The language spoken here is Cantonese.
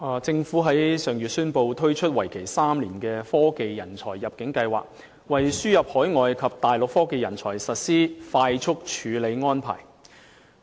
政府於上月宣布推出為期3年的科技人才入境計劃，為輸入海外及大陸科技人才實施快速處理安排。